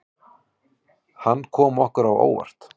Hann kom okkur á óvart.